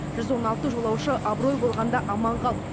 жүз он алты жолаушы абырой болғанда аман қалды